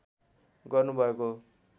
गर्नुभएको हो